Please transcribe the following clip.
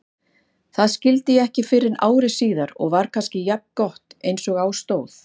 Það skildi ég ekki fyrren ári síðar og var kannski jafngott einsog á stóð.